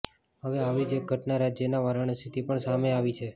હવે આવી જ એક ઘટના રાજ્યના વારાણસીથી પણ સામે આવી છે